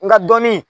Nga dɔnni